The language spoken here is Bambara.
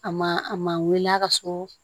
A ma a ma wele a ka so